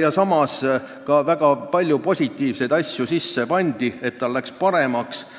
ja samas väga palju positiivseid asju sisse panid, nii et seadus läks paremaks.